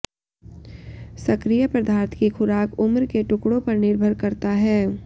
सक्रिय पदार्थ की खुराक उम्र के टुकड़ों पर निर्भर करता है